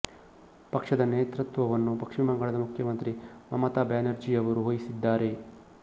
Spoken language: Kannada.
ಪಕ್ಷದ ನೇತೃತ್ವವನ್ನು ಪಶ್ಚಿಮ ಬಂಗಾಳದ ಮುಖ್ಯಮಂತ್ರಿ ಮಮತಾ ಬ್ಯಾನರ್ಜಿಯವರು ವಹಿಸಿದ್ದಾರೆ